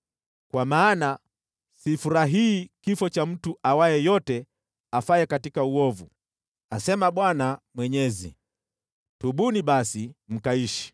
Kwa maana sifurahii kifo cha mtu awaye yote afaye katika uovu, asema Bwana Mwenyezi. Tubuni basi, mkaishi!